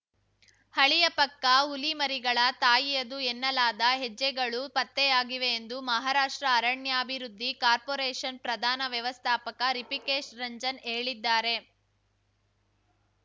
ಹಳಿಯ ಪಕ್ಕ ಹುಲಿಮರಿಗಳ ತಾಯಿಯದು ಎನ್ನಲಾದ ಹೆಜ್ಜೆಗಳೂ ಪತ್ತೆಯಾಗಿವೆ ಎಂದು ಮಹಾರಾಷ್ಟ್ರ ಅರಣ್ಯಾಭಿವೃದ್ಧಿ ಕಾರ್ಪೋರೇಷನ್‌ ಪ್ರಧಾನ ವ್ಯವಸ್ಥಾಪಕ ರಿಪಿಕೇಶ್‌ ರಂಜನ್‌ ಹೇಳಿದ್ದಾರೆ